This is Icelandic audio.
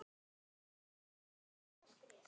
Brands þáttur örva